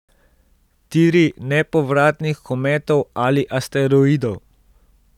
Tiri nepovratnih kometov ali asteroidov.